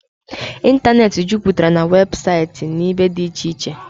ịntanetị juputara na weebụsaịtị na ibe dị iche iche